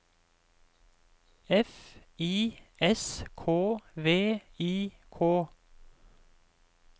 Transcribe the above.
F I S K V I K